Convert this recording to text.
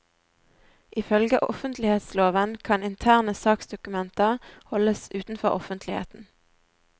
Ifølge offentlighetsloven kan interne saksdokumenter holdes utenfor offentligheten.